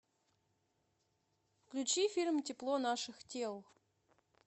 включи фильм тепло наших тел